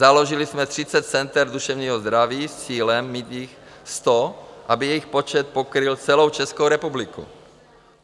Založili jsme 30 center duševního zdraví s cílem mít jich 100, aby jejich počet pokryl celou Českou republiku.